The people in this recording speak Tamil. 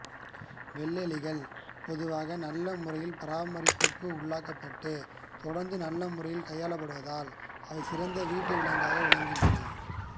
வெள்ளெலிகள் பொதுவாக நல்ல முறையில் பராமரிப்புக்கு உள்ளாக்கப்பட்டு தொடர்ந்து நல்ல முறையில் கையாளப்படுவதால் அவை சிறந்த வீட்டு விலங்குகளாக விளங்குகின்றன